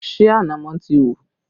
Ṣé ànámọ́ ti hù?